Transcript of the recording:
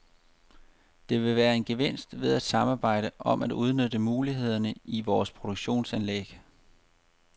Der vil være en gevinst ved at samarbejde om at udnytte mulighederne i vores produktionsanlæg.